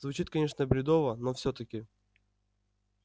звучит конечно бредово но всё-таки